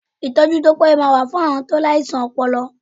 Ìtọ́jú tó péye máa wà fún àwọn tó láìsàn ọpọlọ